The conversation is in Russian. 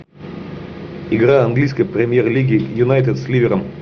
игра английской премьер лиги юнайтед с ливером